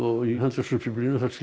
í henderson Biblíunni kemur